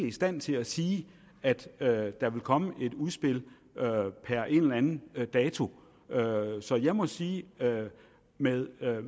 i stand til at sige at at der vil komme et udspil per en eller anden dato så jeg må sige med